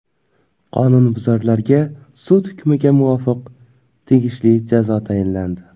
Qonunbuzarlarga, sud hukmiga muvofiq, tegishli jazo tayinlandi.